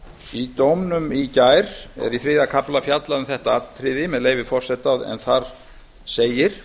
í dómnum í gær er í þriðja kafla fjallað um þetta atriði og þar segir